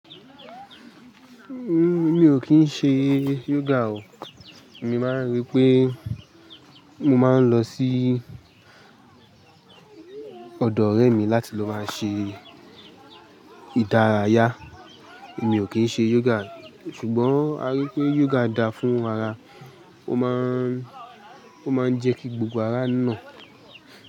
Huh, mí ó kín ń ṣe yoga o. Mi máa rí pé mo máa ń lọ sí ọ̀dọ̀ ọ̀rẹ́ mi láti lọ máa ṣe ìdárayá. Mi ò kìí ṣe yoga, ṣùgbọ́n a rí pé yoga dá fún ara, ó máa ń Ó má ń jẹ́ kí gbogbo ará nà.